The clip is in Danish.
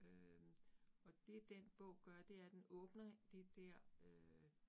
Øh og det den bog gør det er, den åbner det der øh